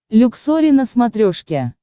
люксори на смотрешке